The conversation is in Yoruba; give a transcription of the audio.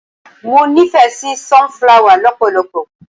Mo nífẹ̀ẹ́ sí sun-flower lọpọlọpọ.